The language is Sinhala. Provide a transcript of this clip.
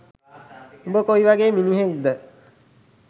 උඹ කොයි වගේ මිනිහෙක් ද